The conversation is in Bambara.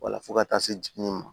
Wala fo ka taa se jiginni ma